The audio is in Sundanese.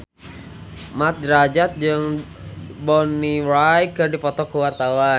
Mat Drajat jeung Bonnie Wright keur dipoto ku wartawan